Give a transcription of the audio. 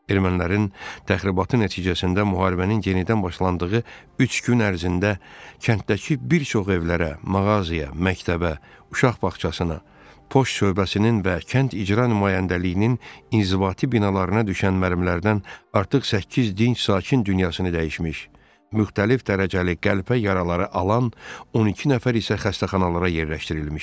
Ermənilərin təxribatı nəticəsində müharibənin yenidən başlandığı üç gün ərzində kənddəki bir çox evlərə, mağazaya, məktəbə, uşaq bağçasına, poçt şöbəsinin və kənd icra nümayəndəliyinin inzibati binalarına düşən mərmilərdən artıq səkkiz dinc sakin dünyasını dəyişmiş, müxtəlif dərəcəli qəlpə yaraları alan 12 nəfər isə xəstəxanalara yerləşdirilmişdi.